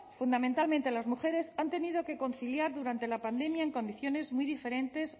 fundamentalmente las mujeres han tenido que conciliar durante la pandemia en condiciones muy diferentes